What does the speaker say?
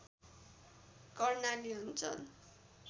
कर्णाली अञ्चल